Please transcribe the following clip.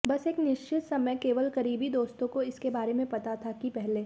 बस एक निश्चित समय केवल करीबी दोस्तों को इसके बारे में पता था कि पहले